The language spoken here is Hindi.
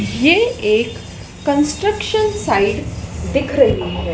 ये एक कंस्ट्रक्शन साइड दिख रही है।